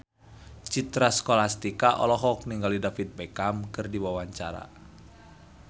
Citra Scholastika olohok ningali David Beckham keur diwawancara